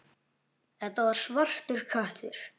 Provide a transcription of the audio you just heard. Þetta var svartur köttur.